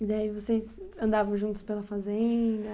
E aí vocês andavam juntos pela fazenda?